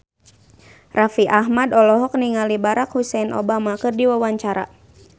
Raffi Ahmad olohok ningali Barack Hussein Obama keur diwawancara